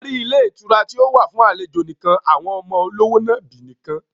A rí ilé ìtura tí ó wà fún àlejò nìkan, àwọn ọmọ olówò nàbì nìkan